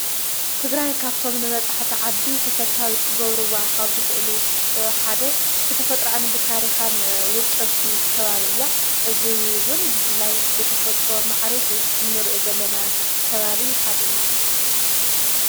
ትግራይ ካፍቶም ንበጽሕተ ዓዲ ተፈታዊት ክጐብሩ ዋን ኻብ ዝኽእሉ ሓደ ብተፈጥራን ብታሪኻን ውቅ ብቲ ከባብ እያ እዙይውን ብፍላይ ብተፈጥሮ መዓሪጉ እኖርእዮ ዘለና ከባብዪ ሓደ እዩ።